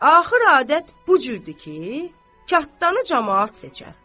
Axır adət bu cürdür ki, katdanı camaat seçər.